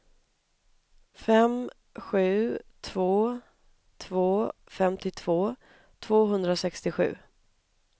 fem sju två två femtiotvå tvåhundrasextiosju